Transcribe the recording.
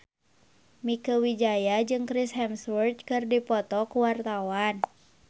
Mieke Wijaya jeung Chris Hemsworth keur dipoto ku wartawan